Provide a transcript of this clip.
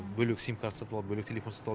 бөлек сим карта сатып алып бөлек телефон сатып алып